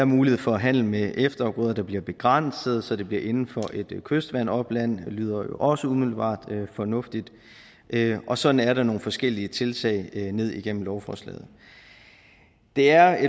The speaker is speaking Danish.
mulighed for handel med efterafgrøder der bliver begrænset så det bliver inden for et kystvandopland det lyder jo også umiddelbart fornuftigt og sådan er der nogle forskellige tiltag ned igennem lovforslaget det er